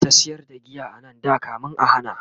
ana ta sayar da giya anan da kamin a hana